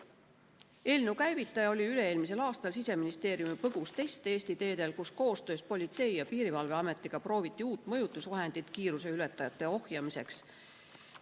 Eelnõu käivitas üle-eelmisel aastal Siseministeeriumi põgus test Eesti teedel, kui koostöös Politsei‑ ja Piirivalveametiga prooviti uut mõjutusvahendit kiiruseületajate ohjamiseks.